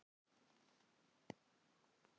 Ekkert mátti koma mér á óvart.